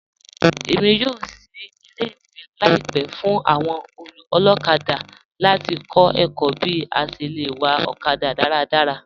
Èmi yóò ṣìí ilẹ̀-ìwé laípẹ̀ fún awọn olokada láti kọ̀ ẹ̀kọ̀ bí à ṣé lẹ wà okada daradara.